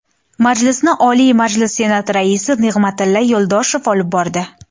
Majlisni Oliy Majlis Senati Raisi Nig‘matilla Yo‘ldoshev olib bordi.